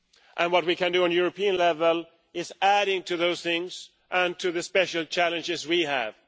And what we can do at European level is in addition to those things and addressing the special challenges we have.